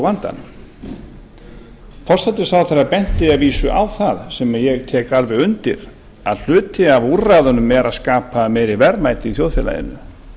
vandanum forsætisráðherra benti að vísu á það sem ég tek undir að hluti af úrræðunum er að skapa meiri verðmæti í þjóðfélaginu